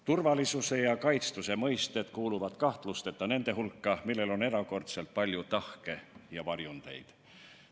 Turvalisuse ja kaitstuse mõiste kuuluvad kahtlusteta nende hulka, millel on erakordselt palju tahke ja varjundeid.